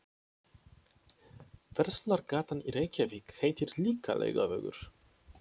Verslunargatan í Reykjavík heitir líka Laugavegur.